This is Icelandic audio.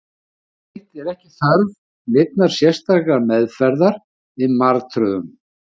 Yfirleitt er ekki þörf neinnar sérstakrar meðferðar við martröðum.